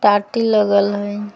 टाटी लगल हई ।